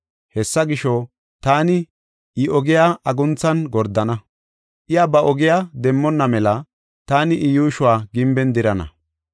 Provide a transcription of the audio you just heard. Hessa gisho, taani I ogiya agunthan gordana; iya ba ogiya demmonna mela taani I yuushuwa gimben dirana.